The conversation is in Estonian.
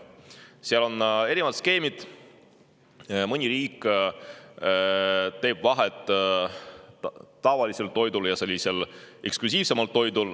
Seal on erinevad skeemid, mõni riik teeb vahet tavalisel toidul ja eksklusiivsemal toidul.